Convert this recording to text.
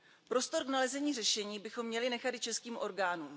Prostor k nalezení řešení bychom měli nechat i českým orgánům.